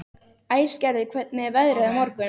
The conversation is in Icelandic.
Æsgerður, hvernig er veðrið á morgun?